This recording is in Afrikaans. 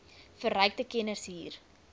verrykte kennis hier